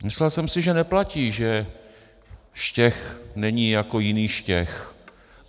Myslel jsem si, že neplatí, že Štech není jako jiný Štěch.